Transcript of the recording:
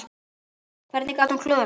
Hvernig gat hún klúðrað þessu?